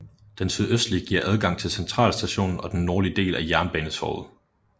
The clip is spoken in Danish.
Den sydøstlige giver adgang til Centralstationen og den nordlige del af Jernbanetorget